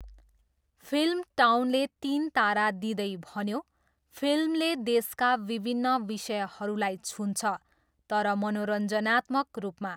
Film टाउनले तिन तारा दिँदै भन्यो, 'फिल्मले देशका विभिन्न विषयहरूलाई छुन्छ, तर मनोरञ्जनात्मक रूपमा।'